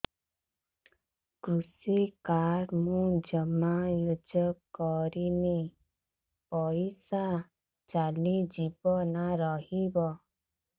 କୃଷି କାର୍ଡ ମୁଁ ଜମା ୟୁଜ଼ କରିନି ପଇସା ଚାଲିଯିବ ନା ରହିବ